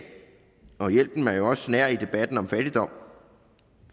og hjælpen er jo også nær i debatten om fattigdom